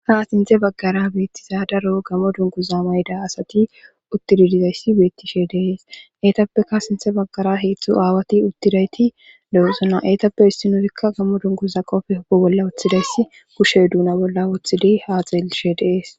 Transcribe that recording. ha sinthe baggara beettiza daro gammo dunkuza mayda asati uttididizayssi beettishe deees eetappeka sinthe baggara heeththu aawati uttidayti de7esona eetappe issi nurikka gammo dunkuza qofe hobo bolla woththidayssi kushe duuna bolla wooththidi ha xeellishe deees